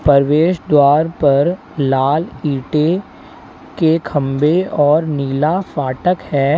प्रवेश द्वार पर लाल ईंटें के खंबे और नीला फाटक है।